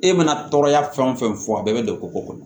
E mana tɔɔrɔya fɛn o fɛn fɔ a bɛɛ bɛ don ko ko kɔnɔ